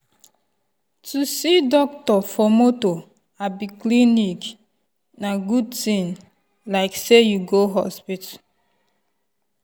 to see doctor for moto abi clinic na good thing like say you go hospital.